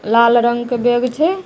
लाल रंग के बैग छै।